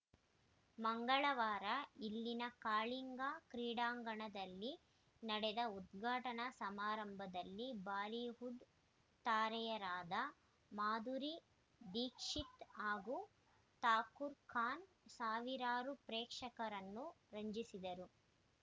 ಮಂಗಳವಾರ ಇಲ್ಲಿನ ಕಳಿಂಗಾ ಕ್ರೀಡಾಂಗಣದಲ್ಲಿ ನಡೆದ ಉದ್ಘಾಟನಾ ಸಮಾರಂಭದಲ್ಲಿ ಬಾಲಿವುಡ್‌ ತಾರೆಯರಾದ ಮಾಧುರಿ ದೀಕ್ಷಿತ್‌ ಹಾಗೂ ಶಾರುಖ್‌ ಖಾನ್‌ ಸಾವಿರಾರು ಪ್ರೇಕ್ಷಕರನ್ನು ರಂಜಿಸಿದರು